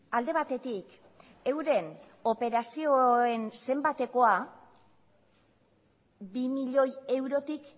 alde batetik euren operazioen zenbatekoa bi milioi eurotik